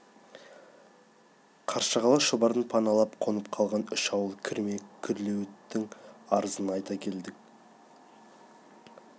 қаршығалы шұбарын паналап қонып қалған үш ауыл кірме күрлеуіттің арызын айта келдік